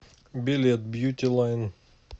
билет бьюти лайн